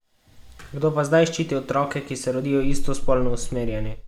Kdo pa zdaj ščiti otroke, ki se rodijo istospolno usmerjeni?